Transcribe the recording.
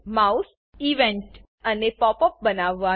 mouse event અને pop up બનાવવાનું